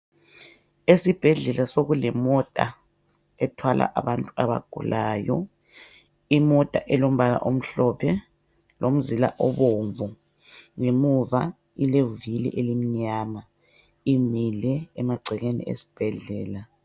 Esibhedlela sokulemota ethwala abantu abagulayo. Imota elombala omhlophe lomzila obomvu. Ngemuva ilevili elimnyama, imile emahcekeni esbhedlela.